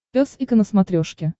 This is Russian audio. пес и ко на смотрешке